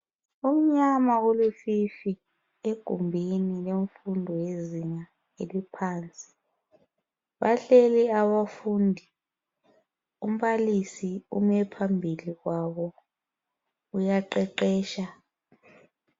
Kumnyama kulufifi egumbuni lemfundo yezinga eliphansi bahleli abafundi umbalisi ume phambili kwabo uyaqeqetsha.